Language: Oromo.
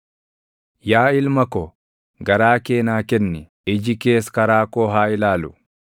Yaa ilma ko, garaa kee naa kenni; iji kees karaa koo haa ilaalu;